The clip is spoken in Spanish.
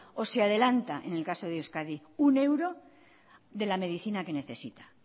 o si adelanta en el caso de euskadi uno euro de la medicina que necesita